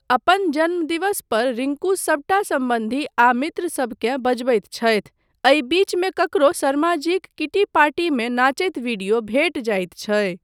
अपन जन्मदिवस पर रिंकू सबटा सम्बन्धी आ मित्रसभ के बजबैत छथि, एहि बीचमे ककरो, शर्माजीक किटी पार्टीमे नाचैत वीडियो भेट जाइत छै।